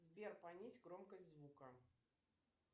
сбер понизь громкость звука